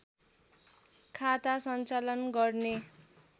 खाता सञ्चालन गर्ने